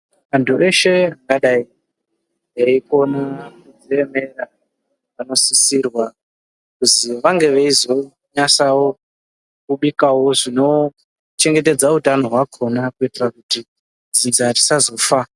Antu eshe angadai eyi kone kudzi emera vano sisirwa kuzi vange veizo nyasawo kubikawo zvino chengetedza utano hwakona ku itira kuti dzinza risa zofa.